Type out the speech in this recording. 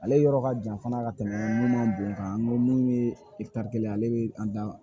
Ale yɔrɔ ka jan fana ka tɛmɛ munnu man bon kan min ye kelen ye ale bɛ an da